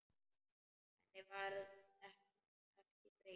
Henni verður ekki breytt.